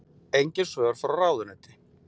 Engin svör frá ráðuneyti